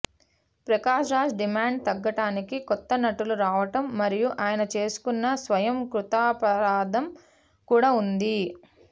Prakash Raj demand తగ్గటానికి కొత్త నటులు రావటం మరియు అయన చేసుకున్న స్వయం కృతాపరాధం కూడా ఉంది